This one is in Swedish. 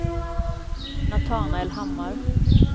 Natanael Hammar